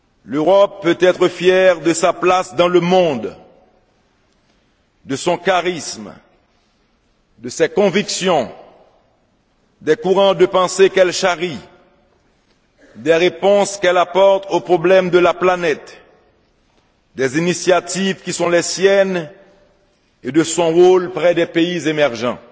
L'Europe peut être fière de sa place dans le monde de son charisme, de ses convictions, des courants de pensées qu'elle charrie, des réponses qu'elle apporte aux problèmes de la planète, des initiatives qui sont les siennes et de son rôle auprès des pays émergents.